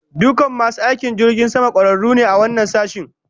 Dukan masu aiki a jirgin sama, kwararu ne a wannan sashin